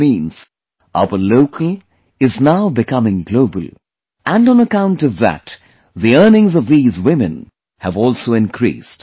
That means our local is now becoming global and on account of that, the earnings of these women have also increased